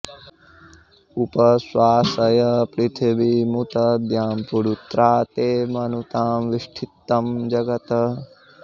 उप॑ श्वासय पृथि॒वीमु॒त द्यां पु॑रु॒त्रा ते॑ मनुतां॒ विष्ठि॑तं॒ जग॑त्